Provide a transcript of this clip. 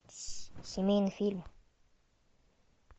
семейный фильм